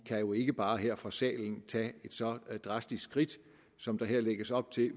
jo ikke bare her fra salen tage et så drastisk skridt som der her lægges op til